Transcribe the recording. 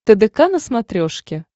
тдк на смотрешке